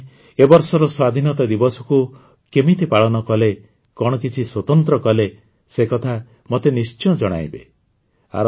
ଆପଣମାନେ ଏ ବର୍ଷର ସ୍ୱାଧୀନତା ଦିବସକୁ କେମିତି ପାଳନ କଲେ କଣ କିଛି ସ୍ୱତନ୍ତ୍ର କଲେ ସେ କଥା ମତେ ନିଶ୍ଚୟ ଜଣେଇବେ